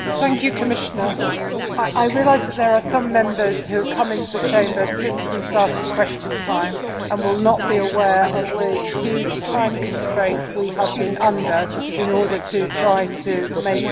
Colleagues, I realise that there are some Members who have come into the Chamber since we started Question Time and will not be aware of the huge time constraint we have been under in order to try to make progress.